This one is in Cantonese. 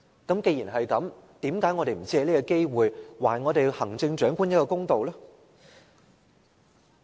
既然如此，為甚麼我們不藉此機會，還行政長官公道呢？